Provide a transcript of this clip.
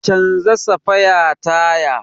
Canja safaya taya.